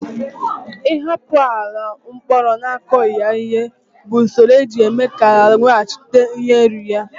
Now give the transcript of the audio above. Ịhapụ ala ọ kpọrọ akughi ya ihe bụ usoro eji eme ka ala weghachite nri ya